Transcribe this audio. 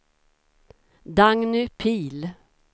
Dagny Pihl